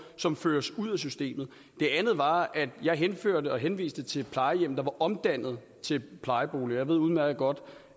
som føres ud af systemet det andet var at jeg henviste til et plejehjem der var omdannet til plejeboliger jeg ved udmærket godt